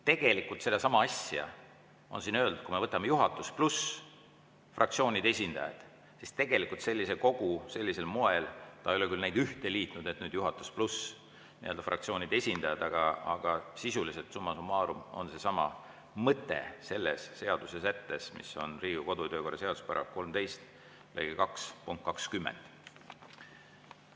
" Tegelikult on sedasama asja öeldud, kui me võtame juhatus pluss fraktsioonide esindajad, mida siin ei ole küll ühte liidetud, aga sisuliselt, summa summarum on seesama mõte Riigikogu kodu‑ ja töökorra seaduse § 13 lõike 2 punktis 20.